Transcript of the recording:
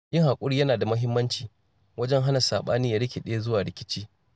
Yin haƙuri yana da muhimmanci wajen hana saɓani ya rikide zuwa rikici.